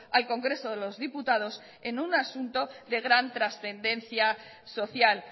al congreso de los diputados en un asunto de gran trascendencia social